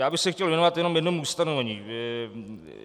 Já bych se chtěl věnovat jenom jednomu ustanovení.